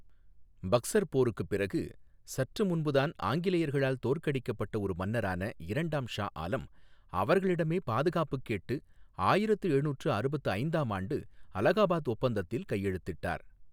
பக்சர் போருக்குப் பிறகு, சற்று முன்புதான் ஆங்கிலேயர்களால் தோற்கடிக்கப்பட்ட ஒரு மன்னரான இரண்டாம் ஷா ஆலம், அவர்களிடமே பாதுகாப்புக் கேட்டு ஆயிரத்து எழுநூற்று அறுபத்து ஐந்தாம் ஆண்டு அலகாபாத் ஒப்பந்தத்தில் கையெழுத்திட்டார்.